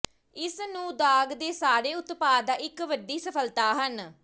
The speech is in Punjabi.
ਇਸ ਨੂੰ ਦਾਗ ਦੇ ਸਾਰੇ ਉਤਪਾਦ ਦਾ ਇੱਕ ਵੱਡੀ ਸਫਲਤਾ ਹਨ